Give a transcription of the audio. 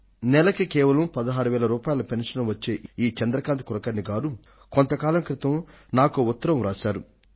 నెలకు కేవలం 16000 పెన్షన్ వచ్చే ఈ చంద్రకాంత్ కులకర్ణి గారు కొంతకాలం క్రితం నాకొక ఉత్తరాన్ని రాశారు